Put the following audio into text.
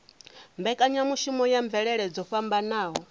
mbekanyamushumo ya mvelele dzo fhambanaho